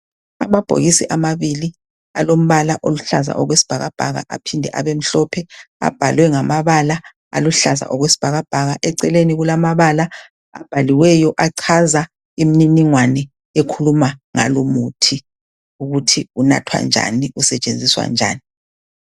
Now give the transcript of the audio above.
Amabhokisi amabili alombala oluhlaza okwesibhakabhaka aphinde abemhlophe, abhalwe ngamabala aluhlaza okwesibhakabhaka. Eceleni kulamabala abhaliweyo achaza imininingwane ekhuluma ngalumuthi, ukuthi unathwa njani usetshenziswa njani